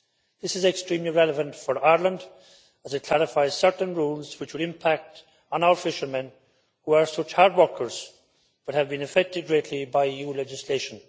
This is extremely relevant for Ireland as it clarifies certain rules which would impact on our fishermen, who are such hard workers but have been affected greatly by EU legislation.